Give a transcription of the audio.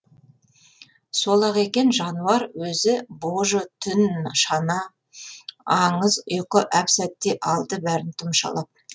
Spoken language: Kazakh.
сол ақ екен жануар өзі божы түн шана аңыз ұйқы әп сәтте алды бәрін тұмшалап